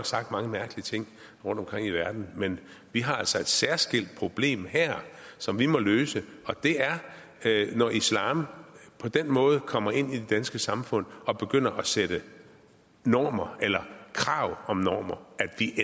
sagt mange mærkelige ting rundtomkring i verden men vi har altså et særskilt problem her som vi må løse og det er når islam på den måde kommer ind i det danske samfund og begynder at sætte normer eller krav om normer